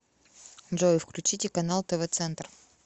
джой включите канал тв центр